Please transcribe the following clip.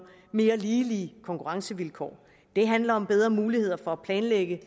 mere ligelige konkurrencevilkår det handler om bedre muligheder for at planlægge